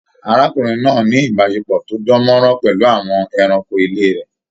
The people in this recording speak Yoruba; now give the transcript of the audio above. Arákùnrin náà ní ìbáṣepọ̀ tó dàn mọ́ràn pẹlú àwọn ẹranko ilé rẹ.